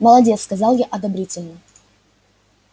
молодец сказал я одобрительно